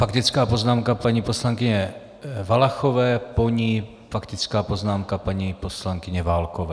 Faktická poznámka paní poslankyně Valachové, po ní faktická poznámka paní poslankyně Válkové.